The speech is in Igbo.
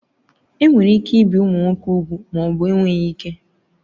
Enwere ike ibi ụmụ nwoke úgwù ma ọ bụ enweghị ike